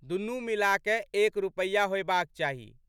दुनू मिलाकए एक रुपैया होएबाक चाही।